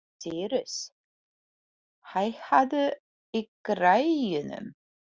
Sírus, hækkaðu í græjunum.